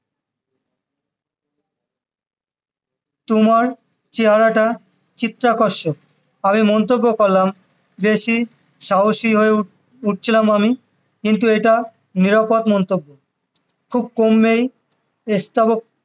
তোমার চেহারাটা চিত্রাকর্ষক আমি মন্তব্য করলাম বেশি সাহসী হয়ে উ~ উঠছিলাম আমি কিন্তু এটা নিরাপদ মন্তব্য খুব কম মেয়েই